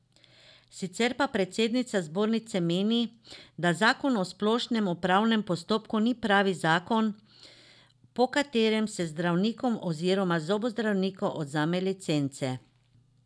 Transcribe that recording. Sicer pa predsednica zbornice meni, da zakon o splošnem upravnem postopku ni pravi zakon, po katerem se zdravnikom oziroma zobozdravnikom odvzema licence.